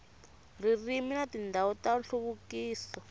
ririmi na tindhawu ta nhluvukiso